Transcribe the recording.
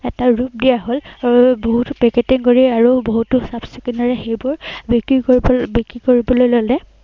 এটা ৰূপ দিয়া হল আৰু এৰ বহুতো কৰি আৰু বহুতো সেইবোৰ বিক্ৰী কৰি বিক্ৰী কৰিবলৈ ললে।